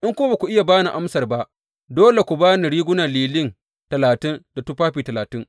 In kuma ba ku iya ba ni amsar ba, dole ku ba ni rigunan lilin talatin da tufafi talatin.